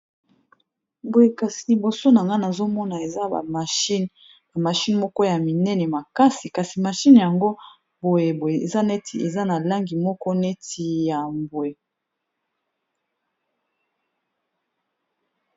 Boye kasi liboso na nga nazomona eza ba machine, ba mashine moko ya minene makasi kasi machine yango boye boye eza neti eza na langi moko neti ya mbwe.